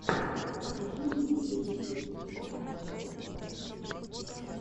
покажи мне видеорецепт теремка тв в ютюбе